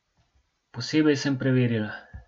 Posebej sem preverila.